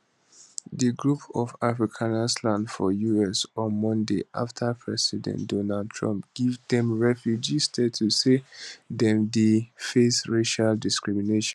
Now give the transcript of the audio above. di group of afrikanersland for us on mondayafta um president um donald trump give dem refugee status say dem dey face racial discrimination